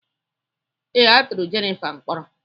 ee, a tụrụ Jennifer mkpọrọ